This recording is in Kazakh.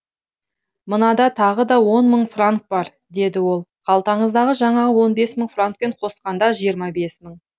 мынада тағы да он мың франк бар деді ол қалтаңыздағы жаңағы он бес мың франкпен қосқанда жиырма бес мың